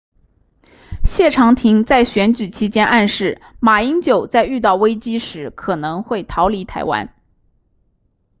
谢长廷在选举期间暗示马英九在遇到危机时可能会逃离台湾